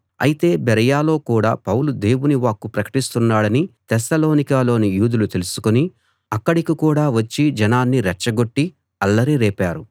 అయితే బెరయలో కూడా పౌలు దేవుని వాక్కు ప్రకటిస్తున్నాడని తెస్సలోనికలోని యూదులు తెలుసుకుని అక్కడికి కూడా వచ్చి జనాన్ని రెచ్చగొట్టి అల్లరి రేపారు